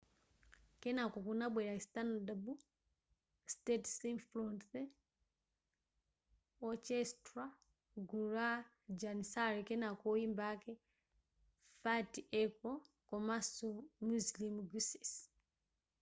kenako kunabwera istanbul state symphony orchestra gulu la janissary kenako oyimba ake fatih erkoç komanso müslüm gürses